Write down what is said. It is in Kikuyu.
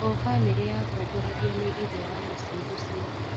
O bamirĩ yatongoragio nĩ ithe wa mũcii ũcio.